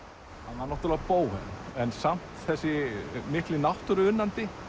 hann var náttúrulega bóhem en samt þessi mikli náttúruunnandi